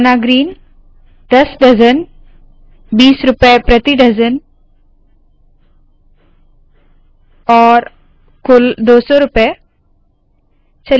बनाना green दस dozen बीस रूपए प्रति डज़न और कुल दो सौ रूपए